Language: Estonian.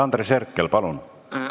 Andres Herkel, palun!